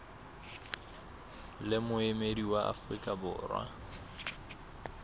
le moemedi wa afrika borwa